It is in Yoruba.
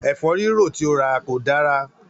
Ẹ̀fórírò tí ó rà kò dára